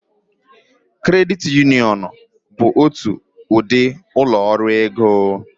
Kredit Uniọn bụ otu ụdị ụlọ ọrụ ego.